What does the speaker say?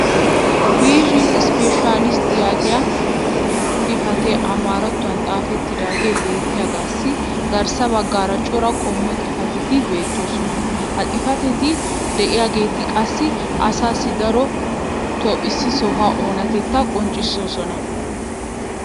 viizhin isppeeshshaalistti yaagiya xifatee amaarattuwan xaafettidaagee beettiyaagassi garssa bagaara cora qommo xifatetti beettoosona. ha xifatetti diyaageeti qassi asaassi daroto issi sohuwa oonatetta qonccissoosona.